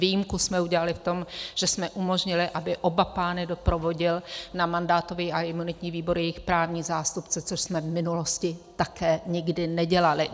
Výjimku jsme udělali v tom, že jsme umožnili, aby oba pány doprovodil na mandátový a imunitní výbor jejich právní zástupce, což jsme v minulosti také nikdy nedělali.